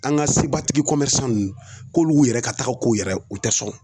An ka sebatigi ko ninnu k'olu yɛrɛ ka taga ko yɛrɛ u tɛ sɔn.